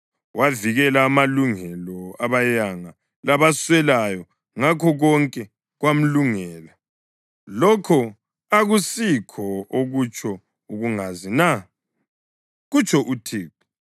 Wavikela amalungelo abayanga labaswelayo, ngakho konke kwamlungela. Lokho akusikho okutsho ukungazi na?” kutsho uThixo.